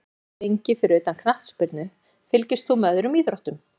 Ekki lengi Fyrir utan knattspyrnu, fylgist þú með öðrum íþróttum?